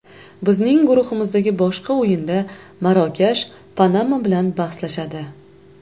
Bizning guruhimizdagi boshqa o‘yinda Marokash Panama bilan bahslashadi.